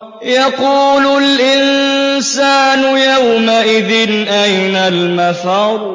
يَقُولُ الْإِنسَانُ يَوْمَئِذٍ أَيْنَ الْمَفَرُّ